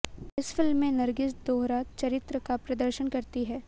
इस फिल्म में नरगिस दोहरा चरित्र का प्रदर्शन करती हैं